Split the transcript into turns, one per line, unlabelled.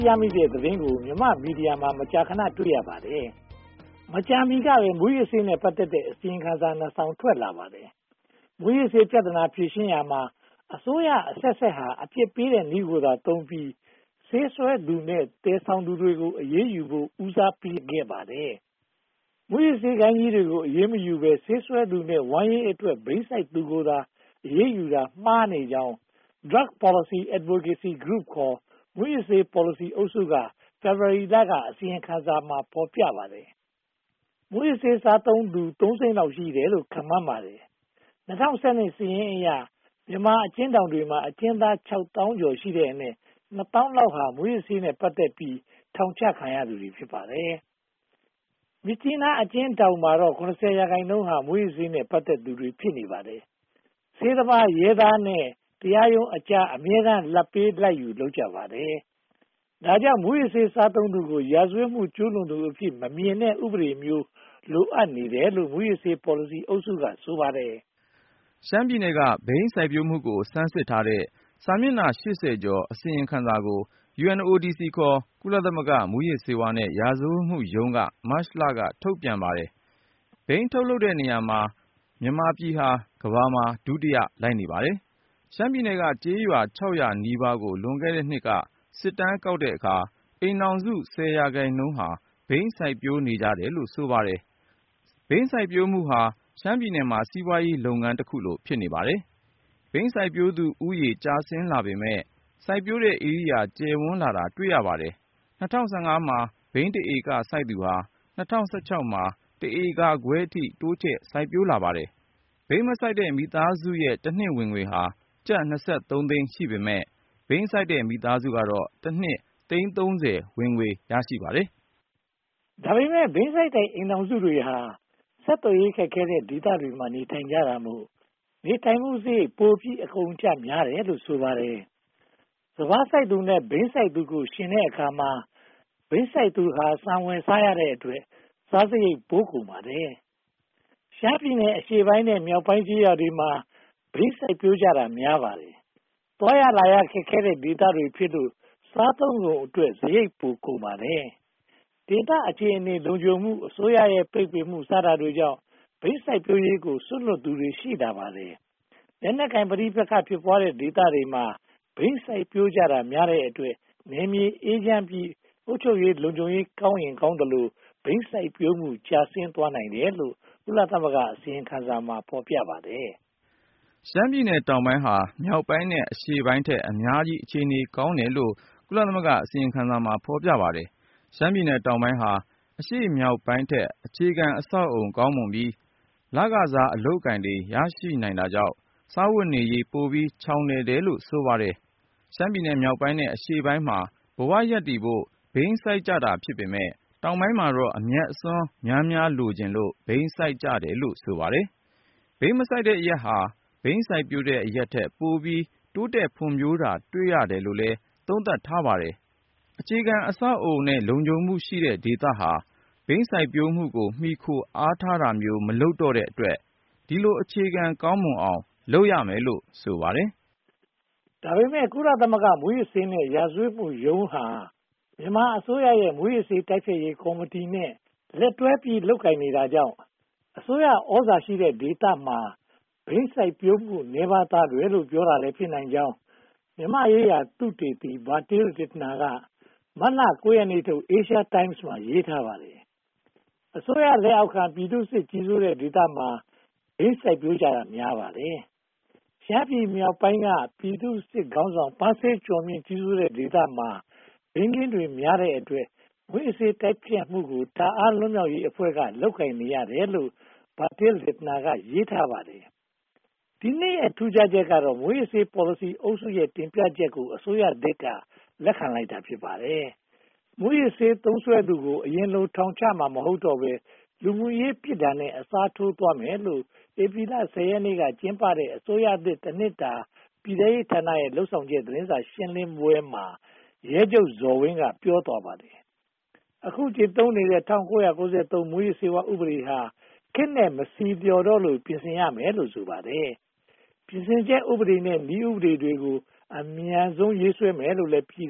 ရမိတဲ့သတင်းကို မြန်မာ့မီဒီယာမှာ မကြာခဏ တွေ့နေရပါတယ်။ မကြာမီကပဲ မူးယစ်ဆေးနဲ့ ပတ်သက်တဲ့ အစီရင်ခံစာ နှစ်စောင်ထွက်လာပါတယ်။ မူးယစ်ဆေးပြဿနာ ဖြေရှင်းရာမှာ အစိုးရအဆက်ဆက်ဟာ အပြစ်ပေးတဲ့နည်းကိုသာသုံးပြီး ဆေးစွဲသူနဲ့ သယ်ဆောင်သူတွေကို အရေးယူဖို့ ဦးစားပေးခဲ့ပါတယ်။ မူးယစ်ဆေးဂိုဏ်းကြီးတွေကို အရေးမယူဘဲ ဆေးစွဲသူနဲ့ ဝမ်းရေးအတွက် ဘိန်းစိုက်သူတွေကိုသာ အရေးယူတာမှားနေကြောင်း Drug Policy Advocacy Group (ခေါ်) မူးယစ်ဆေး ပေါ်လစီအုပ်စုက ဖေဖေါ်ဝါရီလထုတ် အစီရင်ခံစာမှာ ဖော်ပြထားပါတယ်။ မူးယစ်ဆေးစားသုံးသူ သုံးသိန်းလောက်ရှိတယ်လို့ ခန့််မှန်းပါတယ်။ ၂၀၁၂ စာရင်းအရ မြန်မာအကျဉ်းထောင်တွေထဲမှာ အကျဉ်းသောင်း (၆) သောင်းလောက်ရှိတဲ့အနက် နှစ်သောင်းလောက်သာ မူးယစ်ဆေးနဲ့ ပတ်သက်ပြီး ထောင်ချခံရသူတွေ ဖြစ်ပါတယ်။ မြစ်ကြီးနားအကျဉ်းထောင်မှာတော့ (၇၀) ရာခိုင်နှုန်းဟာ မူးယစ်ဆေးနဲ့ ပတ်သက်သူတွေ ဖြစ်နေပါတယ်။ ဆေးသမား၊ ရဲသား နဲ့ တရားရုံးအကြား အမြဲတမ်း လာဘ်ပေးလာဘ်ယူ လုပ်ကြပါတယ်။ ဒါကြောင့် မူးယစ်ဆေး စားသုံးသူကို ရာဇဝတ်မှု ကျူးလွန်သူအဖြစ် မမြင်တဲ့ဥပဒေမျိုး လိုအပ်နေတယ်လို့ မူးယစ်ဆေး ပေါ်လစီအုပ်စုက ဆိုပါတယ်
။ ရှမ်းပြည်နယ်က ဘိန်းစိုက်ပျိုးမှုကို ဆန်းစစ်ထားတဲ့ စာမျက်နှာ (၈၀) ကျော် အစီရင်ခံစာကို UNODC (ခေါ်) ကုလသမဂ္ဂ မူးယစ်ဆေးနဲ့ ရာဇဝတ်မှုရုံးက မတ်လ က ထုတ်ဝေပါတယ်။ ဘိန်းထုတ်လုပ်တဲ့နေရာမှာ မြန်မာပြည်ဟာ ကမ္ဘာမှာ ဒုတိယ လိုက်နေပါတယ်။ ရှမ်းပြည်နယ်က ကျေးရွာ (၆၀၀) နီးပါးကို လွန်ခဲ့တဲ့နှစ်က စစ်တမ်းကောက်တဲ့အခါမှာ အိမ်ထောင်စု ဆယ်ရာခိုင်နှုန်းဟာ ဘိန်းစိုက်ပျိုးနေကြပါတယ်လို့ ဆိုပါတယ်။ ဘိန်းစိုက်ပျိုးမှုဟာ ရှမ်းပြည်နယ်မှာ စီးပွားရေးလုပ်ငန်းတခုကိုလို ဖြစ်နေပါတယ်။ ဘိန်းစိုက်ပျိုးသူဦးရေ ကျဆင်းလာပေမယ့် စိုက်ပျိုးတဲ့ဧရိယာ ကျယ်ဝန်းလာတာ တွေ့ရပါတယ်။ ၂၀၁၅ မှာ ဘိန်းတဧက စိုက်သူဟာ ၂၀၁၆ မှာ တဧကခွဲအထိ တိုးချဲ့စိုက်ပျိုးလာပါတယ်။ ဘိန်းမစိုက်တဲ့ မိသားစုရဲ့ တနှစ်ဝင်ငွေဟာ ကျပ် (၂၃) သိန်း ရှိပေမယ့် ဘိန်းစိုက်တဲ့ မိသားစုကတော့ တနှစ်သိန်း (၃၀) ဝင်ငွေ ရပါတယ်
။ ဒါပေမဲ့ ဘိန်းစိုက်တဲ့ အိမ်ထောင်စုတွေဟာ ဆက်သွယ်ရေး ခက်ခဲတဲ့ဒေသတွေမှာ နေထိုင်ကြတာမို့ နေထိုင်မှုစရိတ် ပိုပြီးအကုန်အကျ များတယ်လို့ ဆိုပါတယ်။ စပါးစိုက်သူနဲ့ ဘိန်းစိုက်သူတို့ကို ယှဉ်ကြည့်တဲ့အခါမှာ ဘိန်းစိုက်သူဟာ ဆန်ဝယ်စားရတဲ့အတွက် စားစရိတ်ပိုကုန်ပါတယ်။ ရှမ်းပြည်နယ် အရှေ့ပိုင်းနဲ့ မြောက်ပိုင်းကျေးရွာတွေမှာ ဘိန်းစိုက်ပျိုးကြတာ များပါတယ်။ သွားရလာရ ခက်ခဲတဲ့ဒေသတွေဖြစ်လို့ စားသုံးကုန်အတွက် စရိတ်ပိုကုန်ပါတယ်။ ဒေသအခြေအနေ လုံခြုံမှု၊ အစိုးရရဲ့ ပိတ်ပင်မှု စတာတွေကြောင့် ဘိန်းစိုက်ပျိုးရေးကို စွန့်လွှတ်လိုက်သူတွေ ရှိပါတယ်။ လက်နက်ကိုင် ပဋိပက္ခ ဖြစ်ပွားတဲ့ဒေသတွေမှာ ဘိန်းစိုက်ပျိုးကြတာများတဲ့အတွက် နယ်မြေအေးချမ်းပြီး အုပ်ချုပ်ရေး၊ လုံခြုံရေးကောင်းရင်ကောင်းသလို ဘိန်းစိုက်ပျိုးမှု ကျဆင်းသွားနိုင်တယ်လို့ ကုလသမဂ္ဂ အစီရင်ခံစာမှာ ဖော်ပြပါတယ်
။ ရှမ်းပြည်နယ်တောင်ပိုင်းဟာ မြောက်ပိုင်းနဲ့ အရှေ့ပိုင်းထက် အများကြီး အခြေအနေ ကောင်းတယ်လို့လည်း ကုလသမဂ္ဂ အစီရင်ခံစာမှာ ဖော်ပြပါတယ်။ ရှမ်းပြည်နယ်တောင်ပိုင်းဟာ အရှေ့မြောက်ပိုင်းထက် အခြေခံအဆောက်အအုံ ကောင်းမွန်ပြီး လခစား အလုပ်အကိုင်တွေ ရရှိနိုင်တာကြောင့် စားဝတ်နေရေး ပိုပြီးချောင်လည်တယ်လို့ ဆိုပါတယ်။ ရှမ်းပြည်နယ်မြောက်ပိုင်းနဲ့ အရှေ့ပိုင်းမှာ ဘဝရပ်တည်ဖို့ ဘိန်းစိုက်ကြတာ ဖြစ်ပေမယ့် တောင်ပိုင်းမှာတော့ အမြတ်အစွန်းများများ လိုချင်လို့ ဘိန်းစိုက်ကြတာလို့ ဆိုပါတယ်။ ဘိန်းမစိုက်တဲ့အရပ်ဟာ ဘိန်းစိုက်ပျိုးတဲ့ အရပ်ထက် ပိုပြီးတိုးတက်ဖွံ့ဖြိုးတာ တွေ့ရတယ်လို့လည်း သုံးသပ်ထားပါတယ်။ အခြေခံအဆောက်အအုံနဲ့ လုံခြုံမှုရှိတဲ့ဒေသဟာ ဘိန်းစိုက်ပျိုးမှုကို မှီခိုအားထားတာမျိုး မလုပ်တော့တဲ့အတွက် ဒီလို အခြေခံကောင်းမွန်အောင် လုပ်ရမယ်လို့ ဆိုပါတယ်
။ ဒါပေမဲ့ ကုလသမဂ္ဂ မူးယစ်ဆေးနဲ့ ရာဇဝတ်မှုရုံးဟာ မြန်မာအစိုးရရဲ့ မူးယစ်ဆေး တိုက်ဖျက်ရေးကော်မတီနဲ့ လက်တွဲလုပ်ကိုင်နေတာကြောင့် အစိုးရသြဇာရှိတဲ့ဒေသမှာ ဘိန်းစိုက်ပျိုးမှု နည်းပါးသွားတယ်လို့ ပြောတာလည်း ဖြစ်နိုင်ကြောင်း မြန်မာ့သုတေသီ Bertil Lintner က မတ်လ (၉) ရက်နေ့ထုတ် Asian Times မှာ ရေးထားပါတယ်။ အစိုးရလက်အောက်ခံ ပြည်သူ့စစ်ခေါင်းဆောင် ပန်းဆေးကျော်မြင့် ကြီးစိုးတဲ့ဒေသမှာ ဘိန်းခင်းတွေများတဲ့အတွက် မူးယစ်ဆေးတိုက်ဖျက်မှုကို တာအန်း လွတ်မြောက်ရေးတပ်ဖွဲ့က လုပ်ကိုင်နေရတယ်လို့ Bertil Lintner က ရေးထားပါတယ်။ ဒီနှစ်ရဲ့ ထူးခြားချက်ကတော့ မူးယစ်ဆေး ပေါ်လစီအုပ်စုရဲ့ တင်ပြချက်တွေကို အစိုးရသစ်က လက်ခံလိုက်တာ ဖြစ်ပါတယ်။ မူးယစ်ဆေးသုံးစွဲသူကို အရင်လို ထောင်ချမှာ မဟုတ်တော့ဘဲ လူမှုရေး ပြစ်ဒဏ်နဲ့ အစားထိုးသွားမယ်လို့ ဧပြီလ (၁၀) ရက်နေ့က ကျင်းပတဲ့ အစိုးရသစ်တနှစ်တာ ပြည်ထဲရေးဌာနရဲ့ လုပ်ဆောင်ချက် သတင်းစာရှင်းလင်းပွဲမှာ ရဲချုပ်ဇော်ဝင်း က ပြောသွားပါတယ်။ အခု ကျင့်သုံးနေတဲ့ ၁၉၉၃ မူးယစ်ဆေးဝါး ဥပဒေဟာ ခေတ်နဲ့မဆီလျော်တော့လို့ ပြင်ဆင်မယ်လို့ ဆိုပါတယ်။ ပြင်ဆင်ချက် ဥပဒေနဲ့ နည်းဥပဒေတွေကို အမြန်ဆုံး ရေးဆွဲမယ်လို့ ပြည်